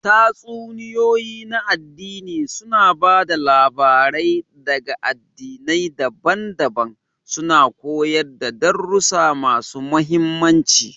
Tatsuniyoyi na aɗdini suna ba da labarai ɗaga aɗdinai daban-daban, suna koyar da darussa masu mahimmanci.